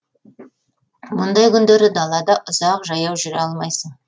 мұндай күндері далада ұзақ жаяу жүре алмайсың